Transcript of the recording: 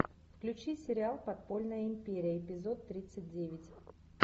включи сериал подпольная империя эпизод тридцать девять